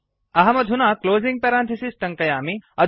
अहमधुना closing parenthesis टङ्कयामि